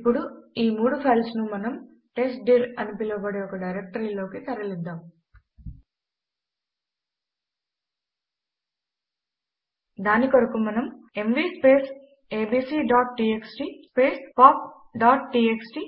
ఇప్పుడు ఈ మూడు ఫైల్స్ ను మనము టెస్ట్డిర్ అని పిలవబడే ఒక డైరెక్టరీలోకి తరలిద్దాం దాని కొరకు మనము ఎంవీ abcటీఎక్స్టీ popటీఎక్స్టీ